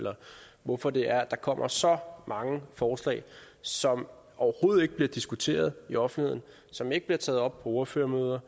eller hvorfor det er at der kommer så mange forslag som overhovedet ikke bliver diskuteret i offentligheden som ikke bliver taget op på ordførermøder